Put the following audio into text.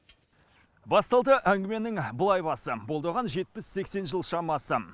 басталды әңгіменің былай басы болды оған жетпіс сексен жыл шамасы